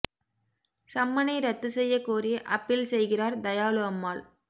சம்மனை ரத்து செய்யக் கோரி அப்பீல் செய்கிறார் தயாளு அம்மாள்